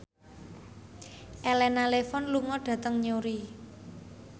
Elena Levon lunga dhateng Newry